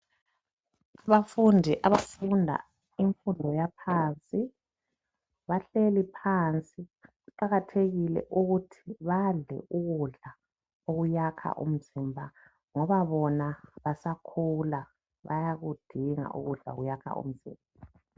Abafunda abafunda imfundo yaphansi. Bahleli phansi. Kuqakathekile ukuthi badle ukudla okwakha umzimba, ngoba bona basakhula. Bayakudinga ukudla okuyakha umzimba.